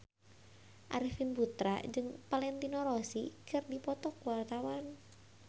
Arifin Putra jeung Valentino Rossi keur dipoto ku wartawan